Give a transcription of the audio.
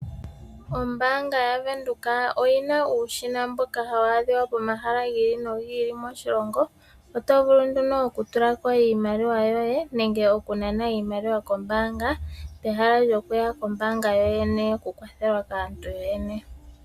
Ombaanga yaVenduka oyina uushina mboka hawu adhika pomahala gi ili nogi ili moshilongo. Oto vulu nduno oku tula ko iimaliwa yoye nenge oku nana iimaliwa kombaanga, pehala lyoku ya kombaanga yoyene oku kwathelwa kaantu yoyene.